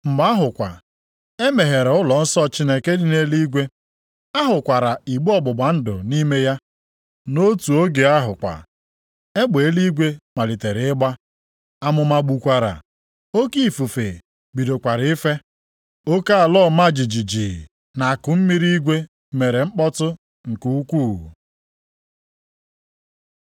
Mgbe ahụ kwa, e meghere ụlọnsọ Chineke nke dị nʼeluigwe. A hụkwara igbe ọgbụgba ndụ nʼime ya. Nʼotu oge ahụ kwa, egbe eluigwe malitere ịgba, amụma gbukwara. Oke ifufe bidokwara ife. Oke ala ọma jijiji na akụmmiri igwe mere mkpọtụ nke ukwuu.